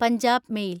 Punjab mail